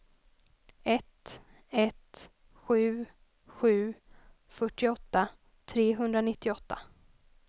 ett ett sju sju fyrtioåtta trehundranittioåtta